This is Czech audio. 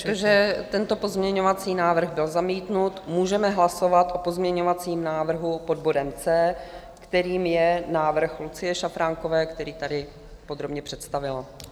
Protože tento pozměňovací návrh byl zamítnut, můžeme hlasovat o pozměňovacím návrhu pod bodem C, kterým je návrh Lucie Šafránkové, který tady podrobně představila.